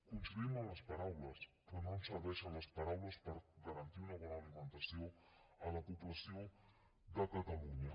coincidim en les paraules però no ens serveixen les paraules per garantir una bona alimentació a la població de catalunya